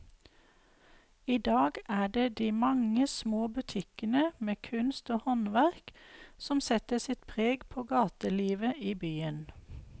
I dag er det de mange små butikkene med kunst og håndverk som setter sitt preg på gatelivet i byen.